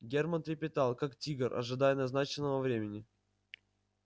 германн трепетал как тигр ожидая назначенного времени